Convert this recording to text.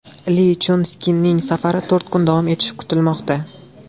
Li Chjun Sikning safari to‘rt kun davom etishi kutilmoqda.